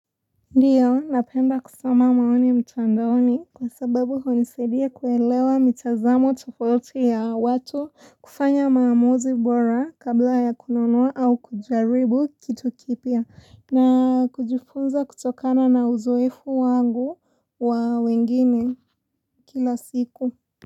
Ndiyo, napenda kusoma maoni mtandoni kwa sababu unisaidia kuelewa mitazamo tofauti ya watu kufanya maamuzi bora kabla ya kununua au kujaribu kitu kipya na kujifunza kutokana na uzoefu wangu wa wengine kila siku.